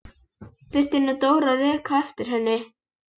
Þurfti nú Dóra að reka á eftir henni!